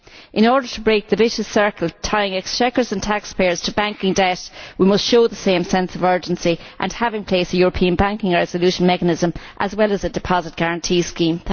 In order to break the vicious circle tying exchequers and taxpayers to banking debt, we must show the same sense of urgency and have in place a European banking resolution mechanism, as well as a deposit guarantee scheme.